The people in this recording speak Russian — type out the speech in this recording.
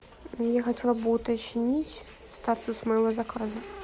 я хотела бы уточнить статус моего заказа